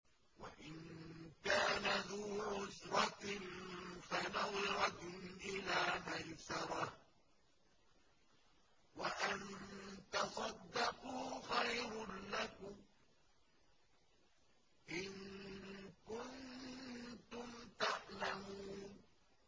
وَإِن كَانَ ذُو عُسْرَةٍ فَنَظِرَةٌ إِلَىٰ مَيْسَرَةٍ ۚ وَأَن تَصَدَّقُوا خَيْرٌ لَّكُمْ ۖ إِن كُنتُمْ تَعْلَمُونَ